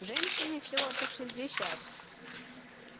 женщине всего-то шестьдесят